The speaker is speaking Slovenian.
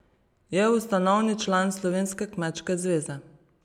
Je ustanovni član Slovenske kmečke zveze.